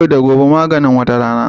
Yau da gobe maganin wata rana